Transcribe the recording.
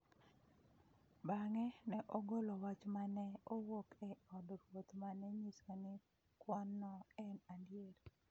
Bang’e, ne ogolo wach ma ne owuok e od ruoth ma ne nyiso ni kwanno en adier.